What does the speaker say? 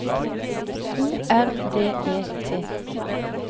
O R D E T